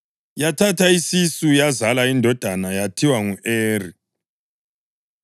yathatha isisu yazala indodana yathiwa ngu-Eri.